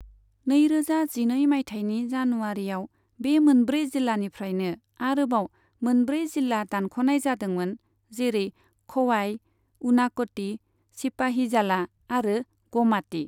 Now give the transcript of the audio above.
नैरोजा जिनै मायथाइनि जानुवारिआव बे मोनब्रै जिल्लानिफ्रायनो आरोबाव मोनब्रै जिल्ला दानख'नाय जादोंमोन जेरै ख'वाय, उनाक'ति, सिपाहिजाला आरो ग'माति।